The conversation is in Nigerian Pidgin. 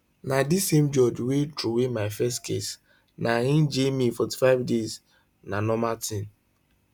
na di same judge wey throway my first case na im jail me 45 days na normal tin